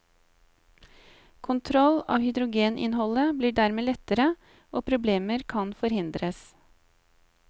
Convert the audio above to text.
Kontroll av hydrogeninnholdet blir dermed lettere, og problemer kan forhindres.